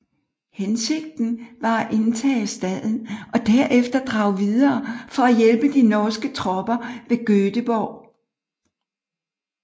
Hensigten var at indtage staden og der efter drage videre for at hjælpe de norske tropper ved Göteborg